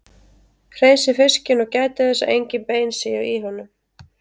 Hreinsið fiskinn og gætið þess að engin bein séu í honum.